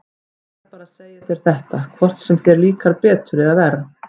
Ég verð bara að segja þér þetta, hvort sem þér líkar betur eða verr.